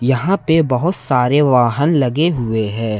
यहां पे बहुत सारे वाहन लगे हुए हैं।